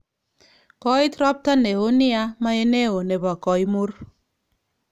Kooit ropta neo nea maeneo nepo koimur.